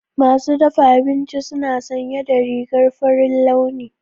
Masu dafa abinci suna sanye da rigar farin launi.